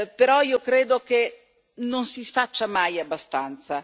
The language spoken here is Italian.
Però io credo che non si faccia mai abbastanza.